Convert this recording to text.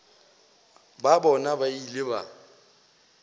ba bona ba ile ba